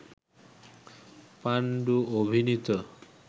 পান্ডু অভিনীত